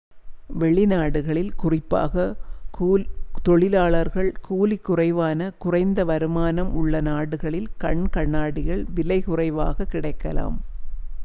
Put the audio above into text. வெளிநாடுகளில் குறிப்பாக தொழிலாளர் கூலி குறைவான குறைந்த வருமானம் உள்ள நாடுகளில் கண் கண்ணாடிகள் விலை குறைவாகக் கிடைக்கலாம்